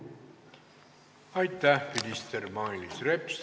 Aitäh, minister Mailis Reps!